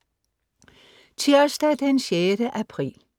Tirsdag den 6. april